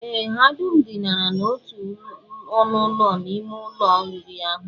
Ee, ha dum dinara n'otu ọnụụlọ n'ime ụlọ oriri ahụ